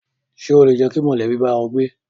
Ṣé o lè jẹ́ kí mọ̀lẹ́bí bá ẹ gbé?